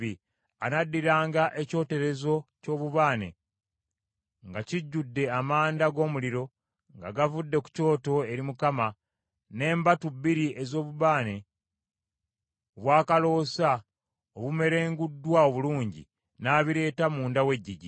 Anaddiranga ekyoterezo ky’obubaane nga kijjudde amanda g’omuliro nga gavudde ku kyoto eri Mukama , n’embatu bbiri ez’obubaane obw’akaloosa obumerunguddwa obulungi, n’abireeta munda w’eggigi.